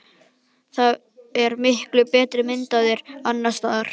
Það er til miklu betri mynd af þér annars staðar.